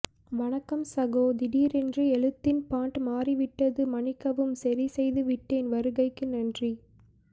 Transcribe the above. வணக்கம் சகோ திடீரென்று எழுத்தின் பாண்ட் மாறி விட்டது மன்னிக்கவும் சரி செய்து விட்டேன் வருகைக்கு நன்றி